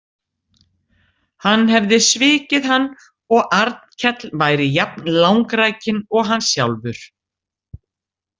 Hann hefði svikið hann og Arnkell væri jafn langrækinn og hann sjálfur.